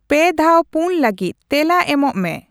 ᱯᱮ ᱫᱷᱟᱣ ᱯᱩᱱ ᱞᱟᱹᱜᱤᱫ ᱛᱮᱞᱟ ᱮᱢᱚᱜ ᱢᱮ